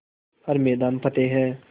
हर मैदान फ़तेह